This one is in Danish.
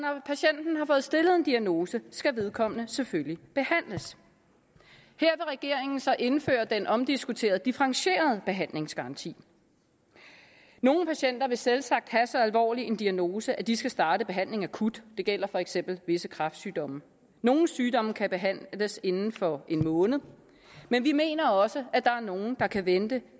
når stillet en diagnose skal vedkommende selvfølgelig behandles her regeringen så indføre den omdiskuterede differentierede behandlingsgaranti nogle patienter vil selvsagt have en så alvorlig diagnose at de skal starte behandlingen akut det gælder for eksempel visse kræftsygdomme nogle sygdomme kan behandles inden for en måned men vi mener også at der er nogle der kan vente